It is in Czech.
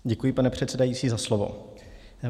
Děkuji, pane předsedající, za slovo.